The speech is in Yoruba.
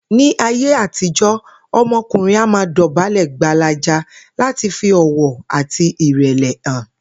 Ní ayé àtijó̩, o̩mo̩kùnrin a máa dò̩bálè̩ gbalaja láti fi ò̩wò̩ àti ìrè̩lè̩ hàn